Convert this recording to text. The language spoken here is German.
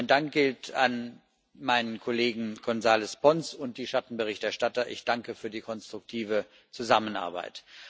Mein Dank gilt meinem Kollegen Gonzáles Pons und den Schattenberichterstattern ich danke für die konstruktive Zusammenarbeit.